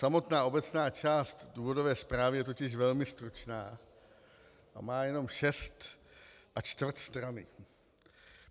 Samotná obecná část důvodové zprávy je totiž velmi stručná a má jenom šest a čtvrt strany.